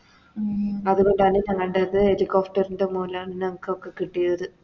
അതുകൊണ്ടാണ് ഞങ്ങൾടത് Helicopter ൻറെ മോളിലാണ് ഞാങ്ക്കൊക്കെ കിട്ടിയത്